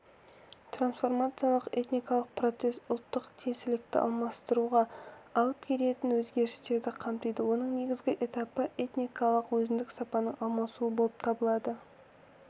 трансформациялық этникалық процесс ұлттық тиесілікті алмастыруға алып келетін өзгерістерді қамтиды оның негізгі этапы этникалық өзіндік сананың алмасуы болып табылады